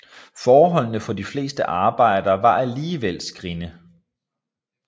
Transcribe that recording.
Forholdene for de fleste arbejdere var alligevel skrinne